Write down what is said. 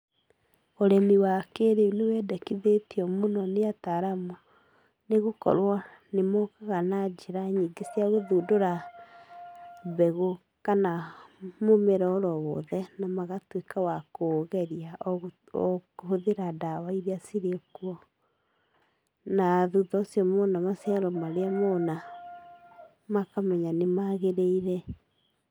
ũrĩmi wa kĩĩrĩu nĩ wendekithĩtio mũno nĩ ataaramu nĩ gũkorwo nĩ mokaga na njĩra nyingĩ cia gũthundũra mbegũ kana mũmera oro wothe na magatuĩka aa kũũgeria o kũhũthĩra ndawa iria cirĩ kuo. Na thutha ũcio mona maciaro marĩa mona, makamenya nĩmagĩrĩire.